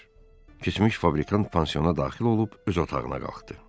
Keçmiş fabrikan pensioana daxil olub öz otağına qalxdı.